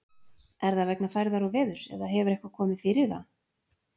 Er það vegna færðar og veðurs eða hefur eitthvað komið fyrir það?